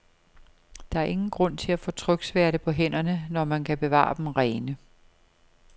Der er ingen grund til at få tryksværte på hænderne, når man kan bevare dem rene.